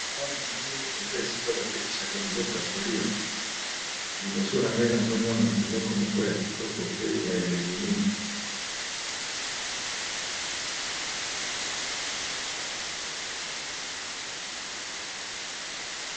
Awa na moni eza esika batekisaka biloko ya kolia liboso na ngai nazomona biloko moko ya kitoko pe ya elengi mingi.